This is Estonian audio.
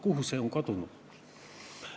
Kuhu see on kadunud?